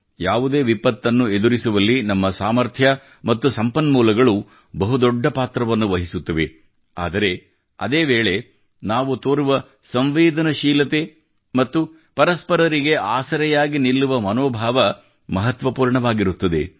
ಯಾವುದೇ ವಿಪತ್ತನ್ನು ಎದುರಿಸುವಲ್ಲಿ ನಮ್ಮ ಸಾಮರ್ಥ್ಯ ಮತ್ತು ಸಂಪನ್ಮೂಲಗಳು ಬಹು ದೊಡ್ಡ ಪಾತ್ರವನ್ನು ವಹಿಸುತ್ತವೆ ಆದರೆ ಅದೇ ವೇಳೆ ನಾವು ತೋರುವ ಸಂವೇದನಶೀಲತೆ ಮತ್ತು ಪರಸ್ಪರರಿಗೆ ಆಸರೆಯಾಗಿ ನಿಲ್ಲುವ ಮನೋಭಾವವು ಮಹತ್ವಪೂರ್ಣವಾಗಿರುತ್ತದೆ